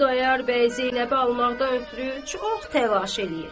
Xudayar bəy Zeynəbi almaqdan ötrü çox təlaş eləyir.